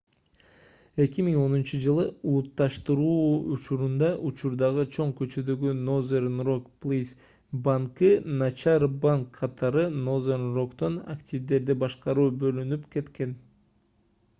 2010-жылы улутташтыруу учурунда учурдагы чоң көчөдөгү nothern rock plc банкы начар банк катары nothern rock'тон активдерди башкаруу бөлүнүп кеткен